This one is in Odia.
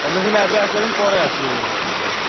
ତମେ ସିନା ଏବେ ଆସିପାରିବନୀ ପରେ ଆସିବ ଯାଇଁକି କହୁଛ କଣ।